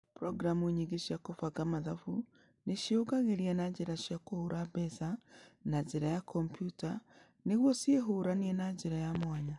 Programu nyingĩ cia kũbanga mathabu nĩ ciĩyungagĩria na njĩra cia kũhũra mbeca na njĩra ya kompiuta nĩguo ciĩhũranie na njĩra ya mwanya.